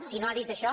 si no ha dit això